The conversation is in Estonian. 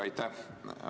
Aitäh!